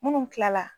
Munnu kilala